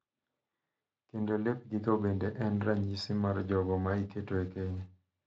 Kendo lepgigo bende en ranyisi mar jogo ma iketo e keny.